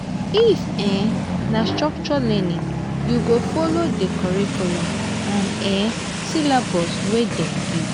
if um na structured learning you go folo di curriculum and um syllabus wey dem give.